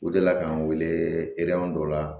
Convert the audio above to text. U delila k'an wele dɔ la